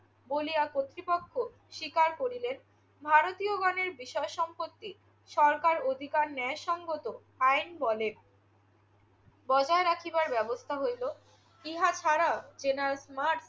বলিয়া কর্তৃপক্ষ স্বীকার করিলেন। ভারতীয়গণের বিষয়-সম্পত্তি সরকার অধিকার ন্যায়সঙ্গত আইন বলে বজায় রাখিবার ব্যবস্থা হইল। ইহা ছাড়াও জেনারেল স্মার্ট